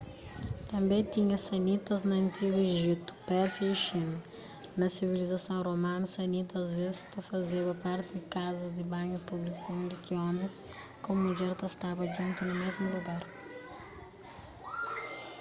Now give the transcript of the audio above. tânbe tinha sanitas na antigu ejiptu pérsia y xina na sivilizason romanu sanitas asvês ta fazeba parti di kazas di banhu públiku undi ki omis ku mudjer ta staba djuntu na mésmu lugar